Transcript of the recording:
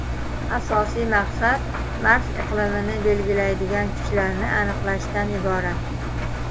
Asosiy maqsad Mars iqlimini belgilaydigan kuchlarni aniqlashdan iborat.